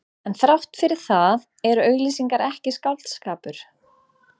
En þrátt fyrir það eru auglýsingar ekki skáldskapur.